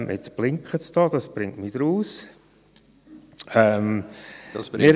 – Jetzt blinkt hier die Lampe, das bringt mich aus dem Konzept.